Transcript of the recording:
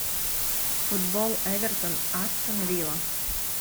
футбол эвертон астон вилла